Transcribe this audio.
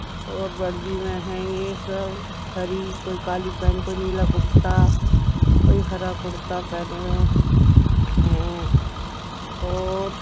और वर्दी में है यह सब हरी कोई काली पैंट कोई नीला कुर्ता कोई हरा कुर्ता पहने हुए हैं और --